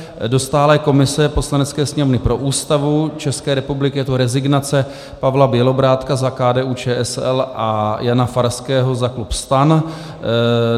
Do stálé komise Poslanecké sněmovny pro Ústavu České republiky je to rezignace Pavla Bělobrádka za KDU-ČSL a Jana Farského za klub STAN.